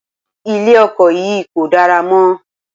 Ilẹ̀ oko yìí kò dára mọ́.